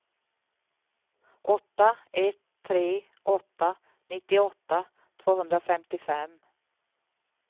åtta ett tre åtta nittioåtta tvåhundrafemtiofem